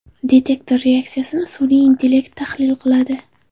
Detektor reaksiyasini sun’iy intellekt tahlil qiladi.